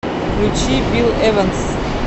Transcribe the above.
включи билл эванс